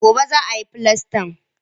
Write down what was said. Gobe za a yi filastan